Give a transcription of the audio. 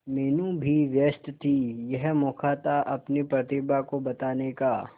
मीनू भी व्यस्त थी यह मौका था अपनी प्रतिभा को बताने का